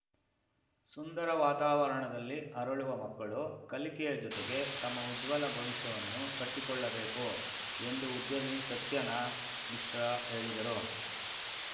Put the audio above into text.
ಸುಂದರ ವಾತಾವರಣದಲ್ಲಿ ಅರಳುವ ಮಕ್ಕಳು ಕಲಿಕೆಯ ಜೊತೆಗೆ ತಮ್ಮ ಉಜ್ವಲ ಭವಿಷ್ಯವನ್ನು ಕಟ್ಟಿಕೊಳ್ಳಬೇಕು ಎಂದು ಉದ್ಯಮಿ ಸತ್ಯನ ಮಿಶ್ರಾ ಹೇಳಿದರು